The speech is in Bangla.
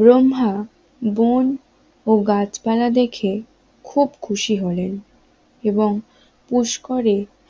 ব্রহ্মা ব্রহ্মা বন ও গাছপালা দেখে খুব খুশি হলেন এবং পুষ্করে